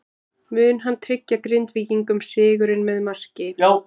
Mun hann tryggja Grindvíkingum sigurinn með marki?